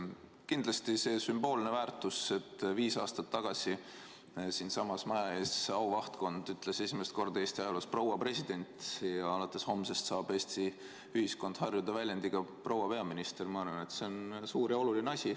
Kindlasti on sellel sümboolne väärtus, et viis aastat tagasi siinsamas maja ees auvahtkond ütles esimest korda Eesti ajaloos "proua president" ja alates homsest saab Eesti ühiskond harjuda väljendiga "proua peaminister" suur ja oluline asi.